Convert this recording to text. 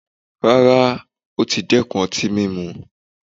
Rárá! ó tí dẹ́kun ọtí mímu.